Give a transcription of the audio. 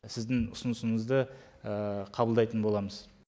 сіздің ұсынысыңызды қабылдайтын боламыз